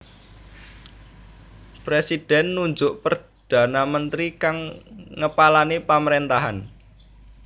Presidhèn nunjuk perdana mentri kang ngepalani pamaréntahan